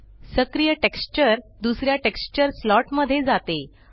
सक्रिय टेक्स्चर दुसऱ्या texture slot मध्ये जाते